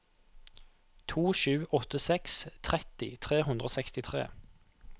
to sju åtte seks tretti tre hundre og sekstitre